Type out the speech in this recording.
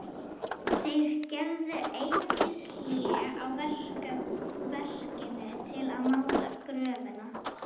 Þeir gerðu einungis hlé á verkinu til að máta gröfina.